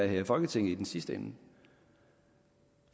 her i folketinget i den sidste ende